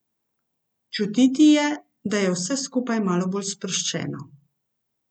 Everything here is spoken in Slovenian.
Čutiti je, da je vse skupaj malo bolj sproščeno.